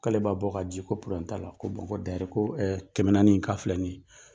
K'ale b'a bɔ ka di ko la ko ko dayɛri ko kɛmɛ naani k'a filɛ nin ye.